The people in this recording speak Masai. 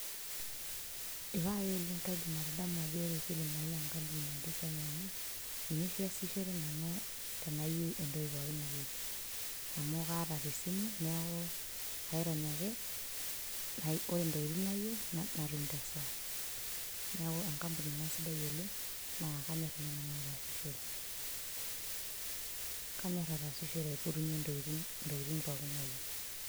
Ipae oleng' kaidim atadamu ajo wore kilimall naa enkampuni natii Kenya amu, ninye oshi aasishore nanu tenayieu entoki pookin nayieu. Amu kaata tesimu neeku, kairony ake, wore ntokitin nayieu, natum tesaa. Neeku enkampuni inia sidai oleng' naa kanyor ninye nanu aataasishore. Kanyor aataasishore aipotunyie intokitin pookin nayieu.